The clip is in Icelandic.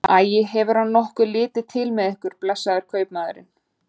Æi, hefur hann nokkuð litið til með ykkur, blessaður kaupmaðurinn?